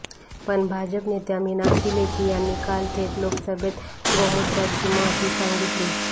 पण भाजप नेत्या मीनाक्षी लेखी यांनी काल थेट लोकसभेत गोमूत्राची महती सांगितली